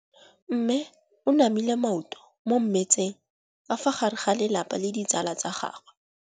Mme o namile maoto mo mmetseng ka fa gare ga lelapa le ditsala tsa gagwe.